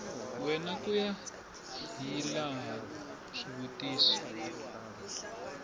wena ku ya hilaha swivutiso